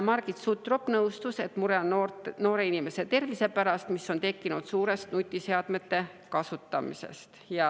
Margit Sutrop nõustus, et on mure noorte inimeste tervise pärast, mis on tekkinud suurest nutiseadmete kasutamisest.